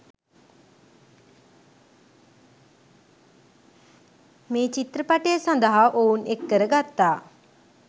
මේ චිත්‍රපටය සඳහා ඔවුන් එක්කර ගත්තා.